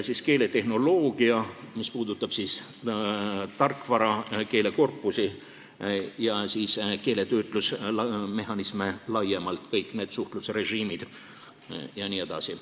Siis on keeletehnoloogia, mis puudutab tarkvara, keelekorpusi ja keeletöötlusmehhanisme laiemalt, kõik need suhtlusrežiimid jne.